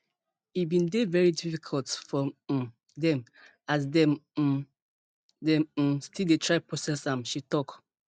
e bin dey veri difficult for um dem as dem um dem um still dey try process am she tok